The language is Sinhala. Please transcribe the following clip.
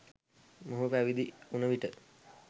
මොහු පැවිදි වුන විට